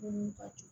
Dumuni ka di